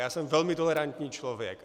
Já jsem velmi tolerantní člověk.